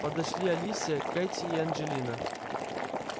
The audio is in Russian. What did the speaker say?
подошли алисия кэти и анджелина